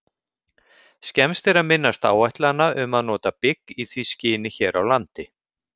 Skemmst er að minnast áætlana um að nota bygg í því skyni hér á landi.